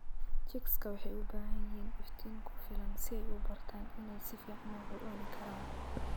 Chicks waxay u baahan yihiin iftiin ku filan si ay u bartaan inay si fiican wax u cunaan.